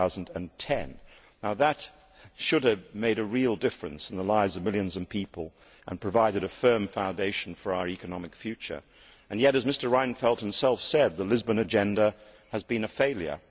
2010. Now that should have made a real difference in the lives of millions of people and provided a firm foundation for our economic future and yet, as Mr Reinfeldt himself said, the Lisbon Agenda has been a failure.